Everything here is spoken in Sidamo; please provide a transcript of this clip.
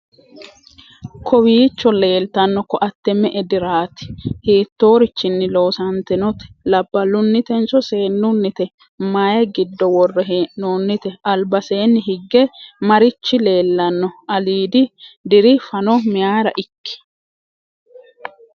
kowiicho leeltanno ko"atte me"e diraati? hittoorichinni loosantinote? labballunnitenso seennunnite? maye giddo worre hee'noonnite albaseenni hige marichi leellanno? aliidi diri fano mayeera ikki?